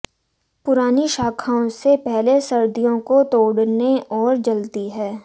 पुरानी शाखाओं से पहले सर्दियों को तोड़ने और जलती हैं